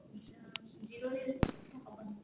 zero ରହିଲେ ହବନି